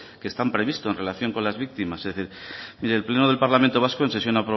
que están previstos en relación con las víctimas mire el pleno del parlamento vasco en sesión